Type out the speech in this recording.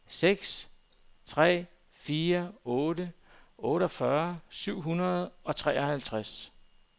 seks tre fire otte otteogfyrre syv hundrede og treoghalvtreds